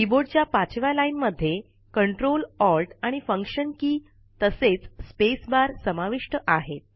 कीबोर्डच्या पाचव्या ओळी मध्ये CTRL ALT आणि फंक्शन के तसेच स्पेसबार समाविष्ट आहेत